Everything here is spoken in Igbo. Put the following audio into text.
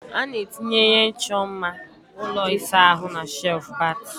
A na-etinye ihe ịchọ mma ụlọ ịsa ahụ na shelf bat